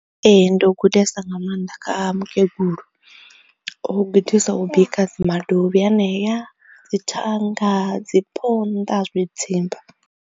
Ee ndo gudesa nga maanḓa kha mukegulu, o gudisa u bika madovhi anea, dzi thanga, dzi phonḓa, zwi dzimba.